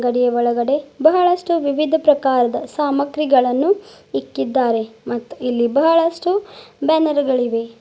ಇಲ್ಲಿ ಒಳಗಡೆ ಬಹಳಷ್ಟು ವಿವಿಧ ಪ್ರಕಾರದ ಸಾಮಗ್ರಿಗಳನ್ನು ಇಕ್ಕಿದ್ದಾರೆ ಮತ್ತು ಇಲ್ಲಿ ಬಹಳಷ್ಟು ಬ್ಯಾನರ್ ಗಳು ಇವೆ.